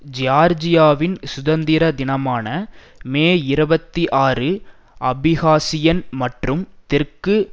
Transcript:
ஜியார்ஜியாவின் சுதந்திர தினமான மே இரவத்தி ஆறு அபிகாசியன் மற்றும் தெற்கு